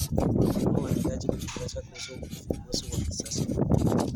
Wakulima wanahitaji kujifunza kuhusu uvumbuzi wa kisasa.